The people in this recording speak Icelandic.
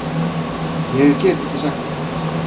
Ég get ekki sagt þér það.